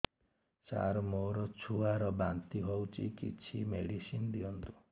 ସାର ମୋର ଛୁଆ ର ବାନ୍ତି ହଉଚି କିଛି ମେଡିସିନ ଦିଅନ୍ତୁ